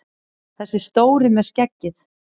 Þessi stóri með skeggið!